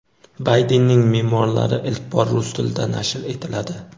Baydenning memuarlari ilk bor rus tilida nashr etiladi.